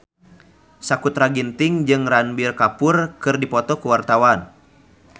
Sakutra Ginting jeung Ranbir Kapoor keur dipoto ku wartawan